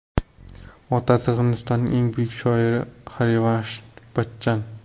Otasi Hindistonning eng buyuk shoiri Xarivansh Bachchan.